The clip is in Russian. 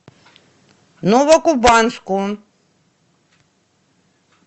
новокубанску